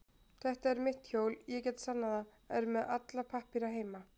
Þetta er mitt hjól, ég get sannað það, er með alla pappíra heima.